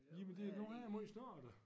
Jamen det nu her måj snart da